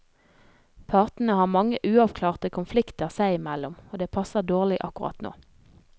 Partene har mange, uavklarte konflikter seg i mellom, og det passer dårlig akkurat nå.